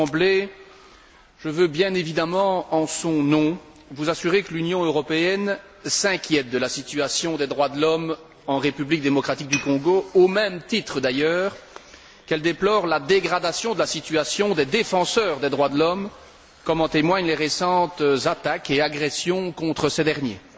D'emblée, je veux, bien évidemment en son nom, vous assurer que l'Union européenne s'inquiète de la situation des droits de l'homme en République démocratique du Congo, au même titre d'ailleurs qu'elle déplore la dégradation de la situation des défenseurs des droits de l'homme, comme en témoignent les récentes attaques et agressions contre ces derniers.